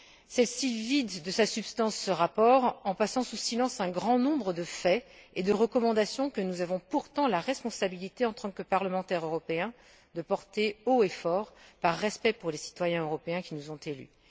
Celle ci vide de sa substance ce rapport en passant sous silence un grand nombre de faits et de recommandations que nous avons pourtant la responsabilité, en tant que parlementaires européens, de porter haut et fort par respect pour les citoyens européens qui nous ont élus.